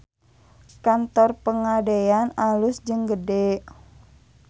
Kantor Pegadaian alus jeung gede